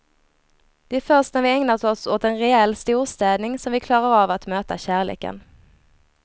Det är först när vi ägnat oss åt en rejäl storstädning som vi klarar av att möta kärleken.